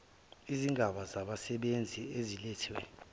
izigaba zabasebenzi eziletha